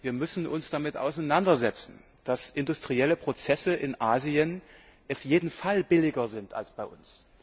Wir müssen uns damit auseinandersetzen, dass industrielle Prozesse in Asien auf jeden Fall billiger sind als bei